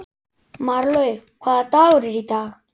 Marlaug, hvaða dagur er í dag?